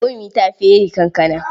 Momi ta fere kankana.